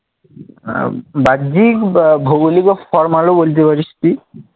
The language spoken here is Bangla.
আহ বাহ্যিক, বা ভৌগলিক ও ফরমালও বলতে পারিস তুই।